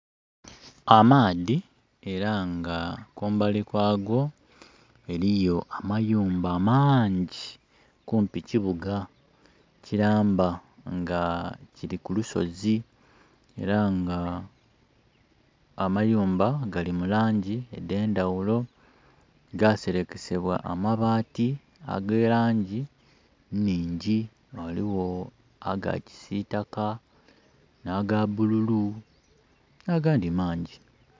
Amaadhi era nga kumbali kwago eriyo amayumba maangi kumpi kibuga kilamba nga kili ku lusozi era nga amayumba gali mu langi edh'endhaghulo, gaserekesebwa amabati aga langi nhingi ghaligho aga kisitaka, nh'aga bululu na gandhi mangi.